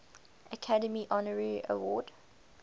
academy honorary award